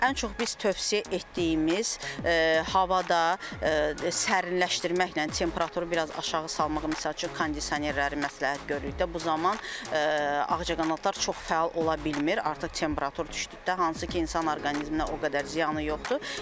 Ən çox biz tövsiyə etdiyimiz havada sərinləşdirməklə temperaturu biraz aşağı salmaq misal üçün kondisionerləri məsləhət görürük də, bu zaman ağcaqanadlar çox fəal ola bilmir, artıq temperatur düşdükdə hansı ki, insan orqanizminə o qədər ziyanı yoxdur.